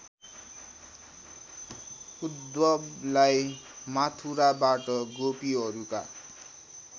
उद्धवलाई मथुराबाट गोपीहरूका